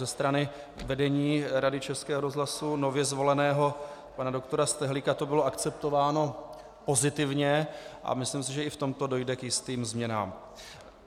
Ze strany vedení Rady Českého rozhlasu, nově zvoleného pana doktora Stehlíka, to bylo akceptováno pozitivně a myslím si, že i v tomto dojde k jistým změnám.